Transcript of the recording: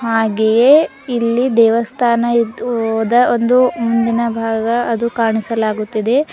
ಹಾಗೆಯೇ ಇಲ್ಲಿ ದೇವಸ್ಥಾನ ಇದ್ ಓದ ಒಂದು ಮುಂದಿನ ಭಾಗ ಅದು ಕಾಣಿಸಲಾಗುತಿದೆ.